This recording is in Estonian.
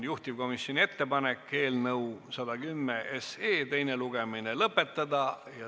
Juhtivkomisjoni ettepanek on eelnõu 110 teine lugemine lõpetada.